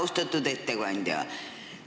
Austatud ettekandja!